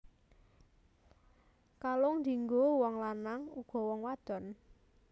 Kalung dianggo wong lanang uga wong wadon